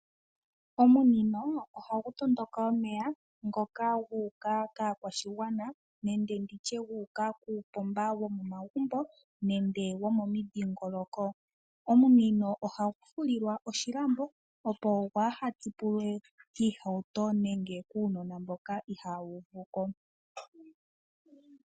Omunino ohagu tondoka omeya ngoka gu uka kaakwashigwana nenge nditye gu uka kuupoma womomagumbo nenge womomudhingoloko. Omunino ohagu fulilwa oshilambo opo gwa tsipulwe kiihawuto nenge kuunona mboka ihawu uvuko.